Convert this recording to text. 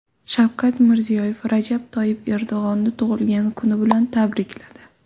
Shavkat Mirziyoyev Rajab Toyyib Erdo‘g‘onni tug‘ilgan kuni bilan tabrikladi.